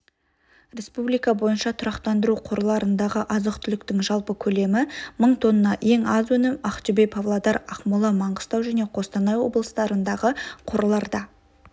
республика бойынша тұрақтандыру қорларындағы азық-түліктің жалпы көлемі мың тонна ең аз өнім ақтөбе павлодар ақмола маңғыстау және қостанай облыстарындағы қорларда